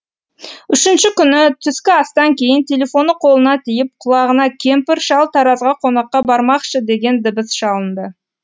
үшінші күні түскі астан кейін телефоны қолына тиіп құлағына кемпір шал таразға қонаққа бармақшы деген дыбыс шалынды